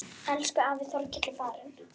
Elsku afi Þorkell er farinn.